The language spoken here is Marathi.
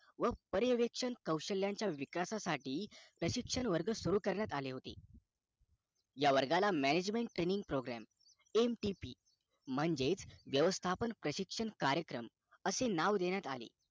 व पर्याव्याश्यक कौशल्याच्या विकासाठी प्रशिक्षक वर्ग सुरु करण्यात आले होते ह्या वर्गाला management training programMTP म्हणजे व्यवस्थापन प्रशिक्षण कार्यक्रम नाव देण्यात आले